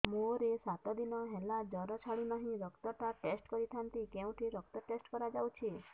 ମୋରୋ ସାତ ଦିନ ହେଲା ଜ୍ଵର ଛାଡୁନାହିଁ ରକ୍ତ ଟା ଟେଷ୍ଟ କରିଥାନ୍ତି କେଉଁଠି ରକ୍ତ ଟେଷ୍ଟ କରା ଯାଉଛି